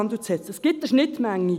Es gibt eine Schnittmenge.